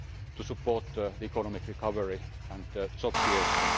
progress to support economic recovery and job creation.